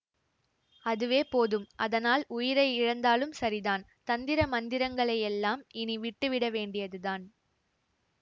அதுவே போதும் அதனால் உயிரை இழந்தாலும் சரிதான் தந்திர மந்திரங்களையெல்லாம் இனிவிட்டுவிட வேண்டியதுதான்